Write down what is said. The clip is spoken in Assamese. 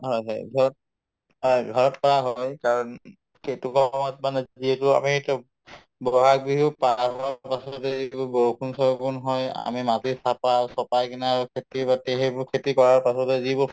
হয় হয় ঘৰত হয় ঘৰত কৰা হয় কাৰণ সময়ত মানে যিহেতু আমি এইটো )‌) বহাগ বিহু পাৰ হোৱাৰ পাছতে যিহেতু বৰষুণ চৰষুণ হয় আমি মাটি চাপাও‍ চপাই কিনে আৰু খেতি-বাতিৰ সেইবোৰ খেতি কৰাৰ পাছতে